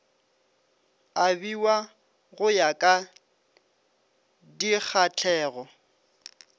abiwa go ya ka dikgahlego